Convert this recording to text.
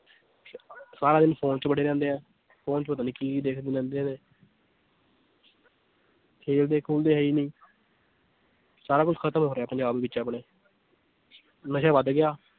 ਸਾਰਾ ਦਿਨ phone 'ਚ ਵੜੇ ਰਹਿੰਦੇ ਹੈ phone 'ਚ ਪਤਾ ਨੀ ਕੀ ਦੇਖਦੇ ਰਹਿੰਦੇ ਨੇ ਖੇਲਦੇ ਖੂਲਦੇ ਹੈ ਹੀ ਨੀ ਸਾਰਾ ਕੁਛ ਖ਼ਤਮ ਹੋ ਰਿਹਾ ਪੰਜਾਬ ਵਿੱਚ ਆਪਣੇ ਨਸ਼ਾ ਵੱਧ ਗਿਆ।